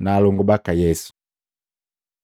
na alongu baka Yesu Maluko 3:31-35; Luka 8:19-21